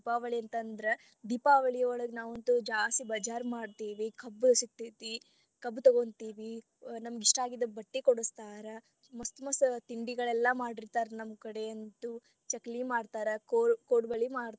ದೀಪಾವಳಿಯೊಳಗ ನಾವಂತು ಜಾಸ್ತಿ बाज़ार ಮಾಡ್ತೀವಿ ಕಬ್ಬ ಸಿಕ್ತೇತಿ ಕಬ್ಬು ತೊಗೊಂತೇವಿ ನಮಗ ಇಷ್ಟಾ ಆಗಿದ ಬಟ್ಟಿ ಕೊಡಸ್ತಾರ ಮಸ್ತ ಮಸ್ತ ತಿಂಡಿಗಳೆಲ್ಲ ಮಾಡಿರತಾರ ನಮ್ ಕಡೆಯಂತು ಚಕ್ಲಿ ಮಾಡ್ತಾರ ಕೊ~ ಕೊಡ್ಬಳಿ.